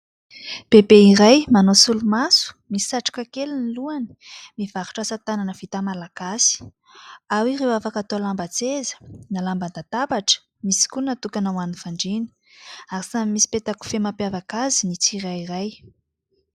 Bebe iray manao solomaso, misy satroka kely ny lohany mivarotra asa tanana vita malagasy. Ao ireo afaka atao lamban-tseza na lamban-databatra. Misy koa natokana ho an'ny fandriana, ary samy misy peta-kofehy mampiavaka azy ny tsirairay.